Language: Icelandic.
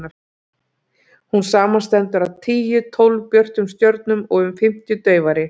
hún samanstendur af tíu til tólf björtum stjörnum og um fimmtíu daufari